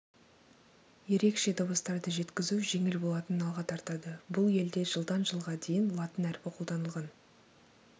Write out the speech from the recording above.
ерекше дыбыстарды жеткізу жеңіл болатынын алға тартады бұл елде жылдан жылға дейін латын әрпі қолданылған